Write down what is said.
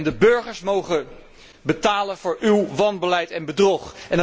En de burgers mogen betalen voor uw wanbeleid en bedrog.